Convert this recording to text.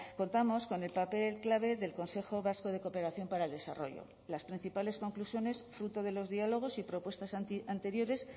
contamos con el papel clave del consejo vasco de cooperación para el desarrollo las principales conclusiones fruto de los diálogos y propuestas anteriores